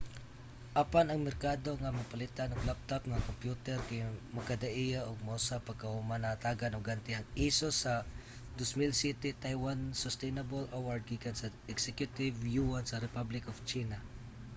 apan ang merkado nga mapalitan og laptop nga kompyuter kay magkadaiya ug mausab pagkahuman nahatagan og ganti ang asus sa 2007 taiwan sustainable award gikan sa executive yuan sa republic of china